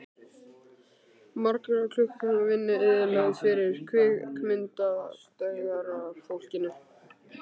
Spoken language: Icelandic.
Margra klukkutíma vinna eyðilögð fyrir kvikmyndagerðarfólkinu.